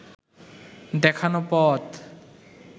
দেখানো পথ